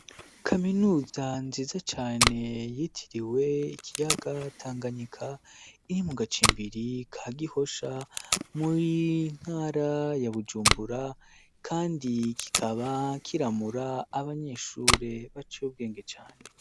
Kaminuza nziza cane yitiriwe ikiyaga tanganyika inimugacimbiri ka gihosha muri ntara ya bujumbura, kandi kikaba kiramura abanyeshure ba cobwenge cane.